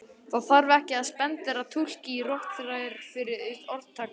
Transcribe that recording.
Það þarf ekki að spandera túlk á rotþrærnar var orðtak hans.